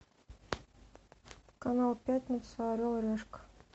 канал пятница орел и решка